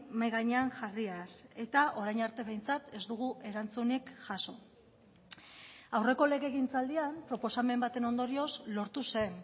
mahai gainean jarriaz eta orain arte behintzat ez dugu erantzunik jaso aurreko legegintzaldian proposamen baten ondorioz lortu zen